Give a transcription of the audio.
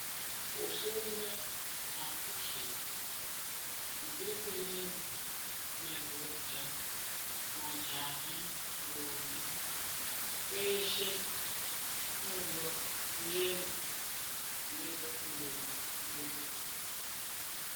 Kufunda akukheti ,ndlekenezi, madhodha, majaha, ndombi, veshe vanodiwa kuenda kunoita kuti ndxondo dzibeuke.